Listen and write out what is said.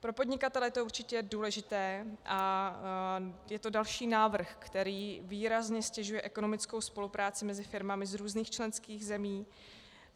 Pro podnikatele to je určitě důležité a je to další návrh, který výrazně ztěžuje ekonomickou spolupráci mezi firmami z různých členských zemí.